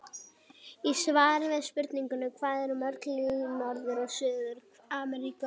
Í svari við spurningunni Hvað eru mörg ríki í Norður- og Suður-Ameríku?